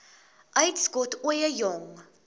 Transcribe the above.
uitskot ooie jong